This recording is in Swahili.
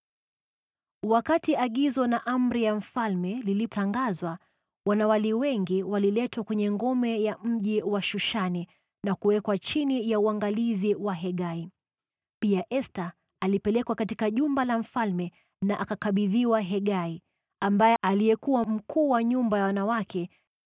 Wakati agizo na amri ya mfalme lilitangazwa, wanawali wengi waliletwa kwenye ngome ya mji wa Shushani na kuwekwa chini ya uangalizi wa Hegai. Pia Esta alipelekwa katika jumba la mfalme na akakabidhiwa Hegai, aliyekuwa mkuu wa nyumba ya wanawake.